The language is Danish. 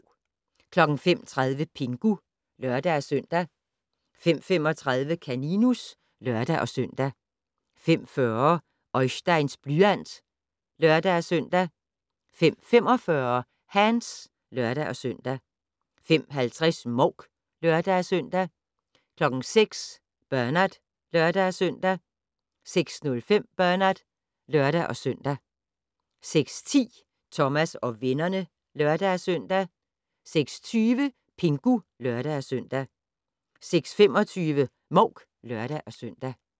05:30: Pingu (lør-søn) 05:35: Kaninus (lør-søn) 05:40: Oisteins blyant (lør-søn) 05:45: Hands (lør-søn) 05:50: Mouk (lør-søn) 06:00: Bernard (lør-søn) 06:05: Bernard (lør-søn) 06:10: Thomas og vennerne (lør-søn) 06:20: Pingu (lør-søn) 06:25: Mouk (lør-søn)